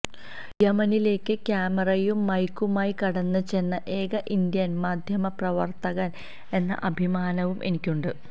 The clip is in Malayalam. യമനിലേക്ക് ക്യാമറയും മൈക്കുമായി കടന്ന് ചെന്ന ഏക ഇന്ത്യന് മാധ്യമപ്രവര്ത്തകന് എന്ന അഭിമാനവും എനിക്കുണ്ട്